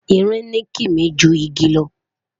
ìrìn ni kimi jù ìgi lo